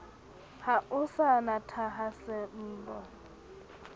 ha o sa na thahasello